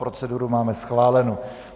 Proceduru máme schválenu.